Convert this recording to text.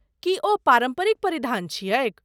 की ओ पारम्परिक परिधान छियैक?